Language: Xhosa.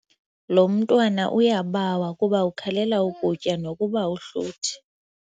Lo mntwana uyabawa kuba ukhalela ukutya nokuba uhluthi.